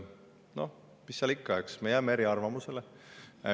No mis seal ikka, eks me jääme eriarvamusele.